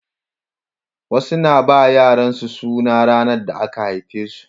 Wasu na ba yaran su sunan ranar da aka haife shi